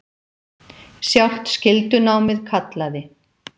Sjálft skyldunámið kallaði.